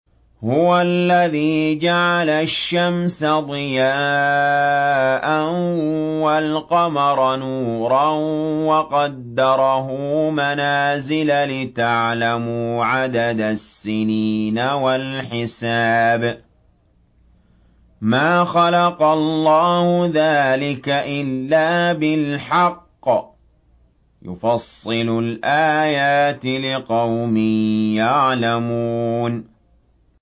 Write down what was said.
هُوَ الَّذِي جَعَلَ الشَّمْسَ ضِيَاءً وَالْقَمَرَ نُورًا وَقَدَّرَهُ مَنَازِلَ لِتَعْلَمُوا عَدَدَ السِّنِينَ وَالْحِسَابَ ۚ مَا خَلَقَ اللَّهُ ذَٰلِكَ إِلَّا بِالْحَقِّ ۚ يُفَصِّلُ الْآيَاتِ لِقَوْمٍ يَعْلَمُونَ